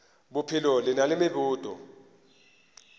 bophelo le na le meboto